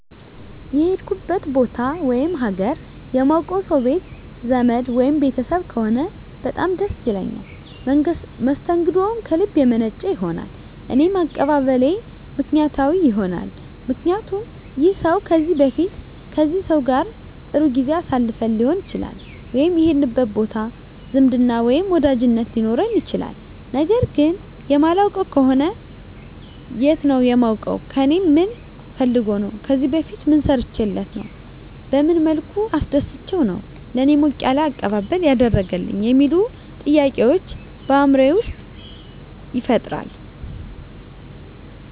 የሄድኩበት ቦታ ወይም ሀገር የማውቀው ሰው ቤት ዘመድ ወይም ቤተሰብ ከሆነ በጣም ደስ ይለኛል መስተንግደውም ከልብ የመነጨ ይሆናል እኔም አቀባበሌ ምክንያታዊ ይሆናልምክንያቱም ይህን ሰው ከዚህ በፊት ከዚህ ሰው ጋር ጥሩ ጊዜ አሳልፈን ሊሆን ይችላል ወይም የሄድንበት ቦታ ዝምድና ወይም ወዳጅነት ሊኖረን ይችላል ነገር ግን የማላውቀው ከሆነ የት ነው የማውቀው ከእኔ ምን ፈልጎ ነው ከዚህ በፊት ምን ሰርቸለት ነው በመን መልኩ አስደስቸው ነው ለእኔ ሞቅ ያለ አቀባበል ያደረገልኝ የሚሉ ጥያቄዎች በአይምሮየ ይፈጠራል